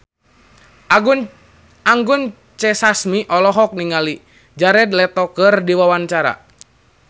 Anggun C. Sasmi olohok ningali Jared Leto keur diwawancara